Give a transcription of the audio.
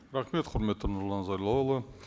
рахмет құрметті нұрлан зайроллаұлы